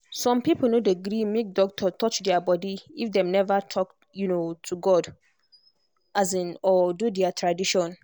some people no dey gree make doctor touch their body if dem never first talk um to god um or do their tradition.